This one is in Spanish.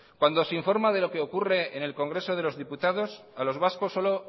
cuando se informa de lo que ocurre en el congreso de los diputados a los vascos solo